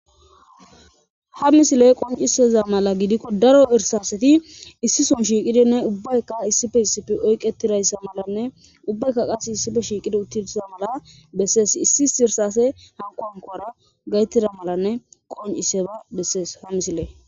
ha misile qonciseza mala gidikko daro irsaseti issison shiiqidinne ubbaykka issife issife oyqetirayssa malanne ubbaykka qas issife shiiqidi uttilsiza mala bessees issi issi irsase hankonkora gaytida malanne qonciseba bessees ha misilee